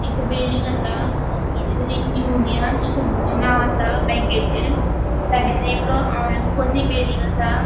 एक बिल्डिंग आसा. यूनियन अशे नाव आसा बॅंकेचे साइडीन एक अ पोन्नी बिल्डिंग आसा.